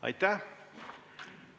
Aitäh!